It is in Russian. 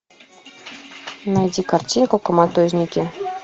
найди картину коматозники